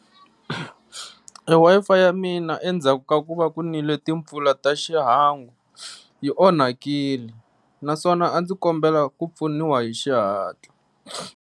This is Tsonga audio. Wi-Fi ya mina endzhaku ka ku va ku nile timpfula ta xihangu yi onhakile naswona a ndzi kombela ku pfuniwa hi xihatla.